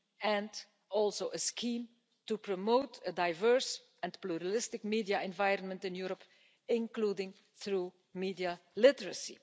and also a scheme to promote a diverse and pluralistic media environment in Europe, including through media literacy.